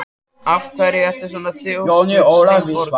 Af hverju ertu svona þrjóskur, Sveinborg?